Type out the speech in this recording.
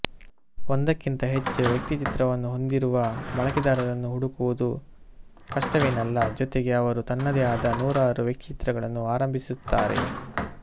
ಒಂದಕ್ಕಿಂತ ಹೆಚ್ಚು ವ್ಯಕ್ತಿಚಿತ್ರವನ್ನು ಹೊಂದಿರುವ ಬಳಕೆದಾರರನ್ನು ಹುಡುಕುವುದು ಕಷ್ಟವೇನಲ್ಲ ಜೊತೆಗೆ ಅವರು ತನ್ನದೇ ಆದ ನೂರಾರು ವ್ಯಕ್ತಿಚಿತ್ರಗಳನ್ನು ಆರಂಭಿಸಿರುತ್ತಾರೆ